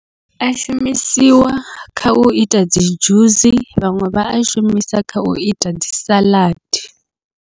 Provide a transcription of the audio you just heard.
A shumisiwa kha uita dzi dzhusi, vhaṅwe vha a shumisa kha uita dzi saḽadi.